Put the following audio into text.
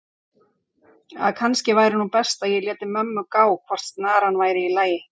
að kannski væri nú best að ég léti mömmu gá hvort snaran væri í lagi.